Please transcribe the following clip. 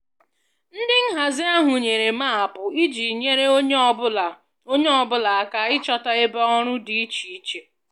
Ndị nhazi ahụ nyere maapụ iji nyere onye ọ bụla onye ọ bụla aka ịchọta ebe ọrụ dị iche iche